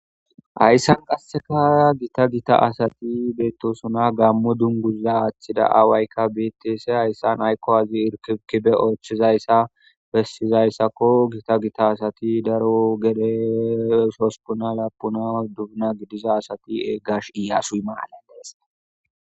hayssan qasseka gita gita asati beettosuna gammo dunguza aththida aawaykka bitese hayssan aykko azi irkibkibe oochchizayssa bessizayssakko gita gita asati daro gele sosupuna laapuna dubuna gidiza asati eeggash iyasuy maaledees